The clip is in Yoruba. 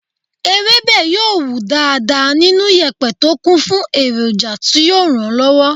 Ewébẹ̀ yóò wù dáadáa nínú yèpẹ̀ tó kún fún èròjà tí yóò ràn lọ́wọ́.